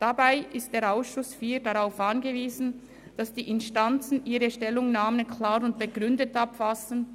Dabei ist der Ausschuss IV darauf angewiesen, dass die Instanzen ihre Stellungnahmen klar und begründet verfassen.